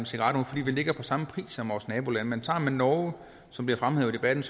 cigaretter fordi vi ligger på samme pris som vores nabolande men tager man norge som bliver fremhævet i debatten